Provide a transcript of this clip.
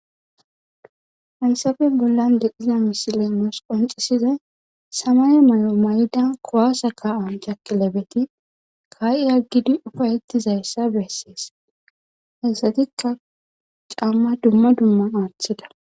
hansafe bollan deqiza misilemoos qonxisizay samaye may7o may7da kowasa ka7an jakilebeti kaa7i yaggidi ufayettizayssa bessees hessatikka camma dumma dumma aaththida